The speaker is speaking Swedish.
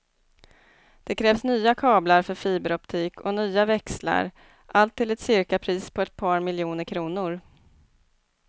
Det krävs nya kablar för fiberoptik och nya växlar, allt till ett cirkapris på ett par miljoner kronor.